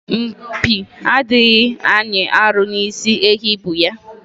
Mpi adịghị anyị arụ n'isi ehi bu ya.